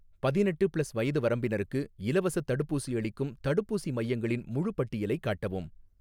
பதினெட்டு ப்ளஸ் வயது வரம்பினருக்கு இலவசத் தடுப்பூசி அளிக்கும் தடுப்பூசி மையங்களின் முழுப் பட்டியலையும் காட்டவும்